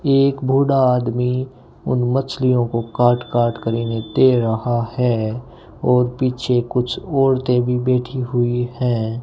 ये एक बूढ़ा आदमी उन मछलियों को काट काट कर इन्हें दे रहा है और पीछे कुछ औरतें भी बैठी हुई हैं।